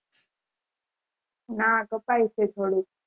ના કપાય છે થોડુક